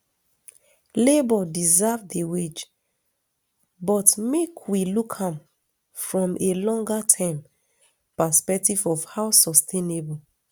labour deserve di wage but make we look am from a longer term perspective of how sustainable